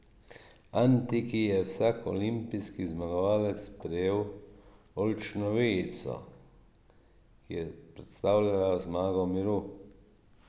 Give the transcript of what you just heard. V antiki je vsak olimpijski zmagovalec prejel oljčno vejico, ki je predstavljala zmago miru.